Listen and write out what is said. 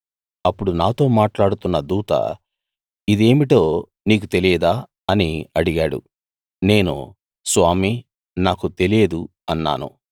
అప్పుడు నాతో మాట్లాడుతున్న దూత ఇదేమిటో నీకు తెలియదా అని అడిగాడు నేను స్వామీ నాకు తెలియదు అన్నాను